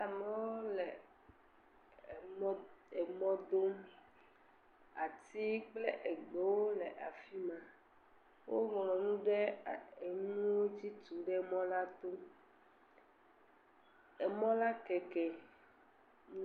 Amewo le emɔ emɔ dom. Ati kple egbewo le afi ma. Woŋlɔ nu ɖe a enuwo dzi tu ɖe emɔ la to. Emɔ la keke.